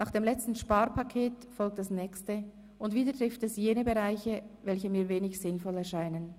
Nach dem letzten Sparpaket folgt das nächste, und wieder trifft es jene Bereiche, welche mir wenig sinnvoll erscheinen.